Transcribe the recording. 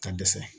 Ka dɛsɛ